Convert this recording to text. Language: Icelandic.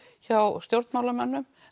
hjá stjórnmálamönnum